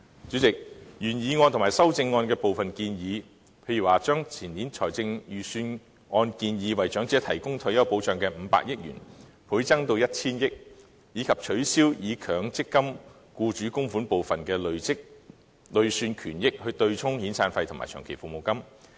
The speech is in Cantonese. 主席，原議案和修正案提出一些建議，例如將前年財政預算案中為退休保障安排預留的500億元，倍增至 1,000 億元；以及取消以強積金僱主供款部分的累算權益對沖遣散費和長期服務金。